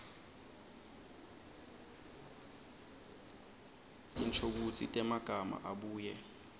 tinshokutsi temagama abuye